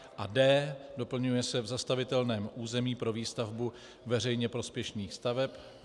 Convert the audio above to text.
A D - doplňuje se "v zastavitelném území pro výstavbu veřejně prospěšných staveb."